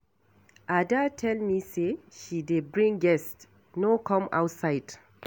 Ada tell me say she dey bring guests, no come outside